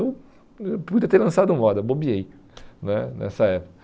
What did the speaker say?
Eu eh podia até ter lançado moda, bobeei né nessa época.